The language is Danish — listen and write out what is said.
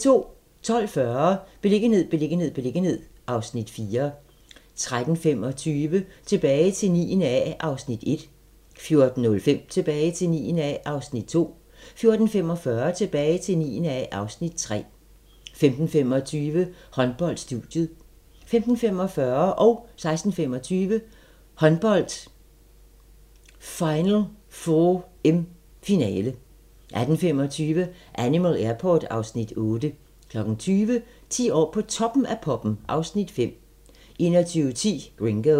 12:40: Beliggenhed, beliggenhed, beliggenhed (Afs. 4) 13:25: Tilbage til 9. A (Afs. 1) 14:05: Tilbage til 9. A (Afs. 2) 14:45: Tilbage til 9. A (Afs. 3) 15:25: Håndbold: Studiet 15:45: Håndbold: Final 4 (m) - finale 16:25: Håndbold: Final 4 (m) - finale 18:25: Animal Airport (Afs. 8) 20:00: 10 år på Toppen af poppen (Afs. 5) 21:10: Gringo